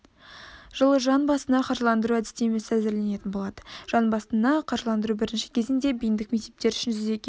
жылы жан басына қаржыландыру әдістемесі әзірленетін болады жан басына қаржыландыру бірінші кезеңде бейіндік мектептер үшін жүзеге